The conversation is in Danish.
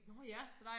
Nå ja